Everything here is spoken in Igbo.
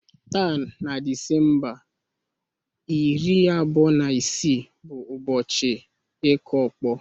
Taa na Disemba iri abụọ na isii bụ ụbọchị ịkụ ọkpọ